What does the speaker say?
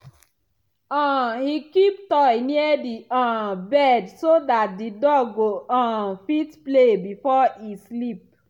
um he keep toy near the um bed so that the dog go um fit play before e sleep.